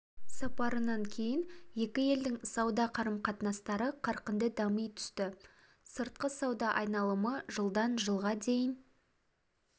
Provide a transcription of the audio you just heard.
сапарынан кейін екі елдің сауда қарым-қатынастары қарқынды дами түсті сыртқы сауда айналымы жылдан жылға дейін